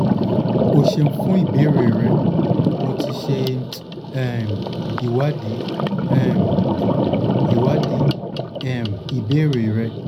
o ṣeun fun ibeere rẹ mo ti ṣe um iwadii um iwadii um ibeere rẹ